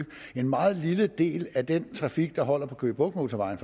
en meget lille del af den trafik der holder på køge bugt motorvejen